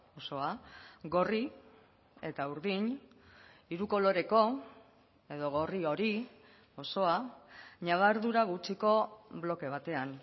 osoa gorri eta urdin hiru koloreko edo gorri hori osoa ñabardura gutxiko bloke batean